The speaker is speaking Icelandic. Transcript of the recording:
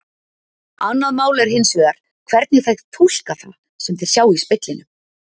Annað mál er hins vegar hvernig þeir túlka það sem þeir sjá í speglinum.